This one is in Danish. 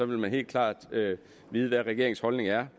man helt klart vide hvad regeringens holdning er